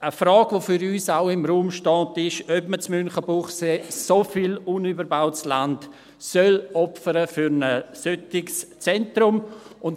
Eine Frage, die für uns auch im Raum steht, ist, ob man in Münchenbuchsee so viel unüberbautes Land für ein solches Zentrum opfern soll.